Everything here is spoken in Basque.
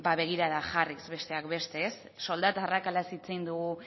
begirada jarriz besteak beste soldata arrakalaz hitz egin dugu